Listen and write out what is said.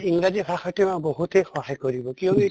ইংৰাজী ভাষাতোই বহুতে সহায় কৰিব কিয়্কি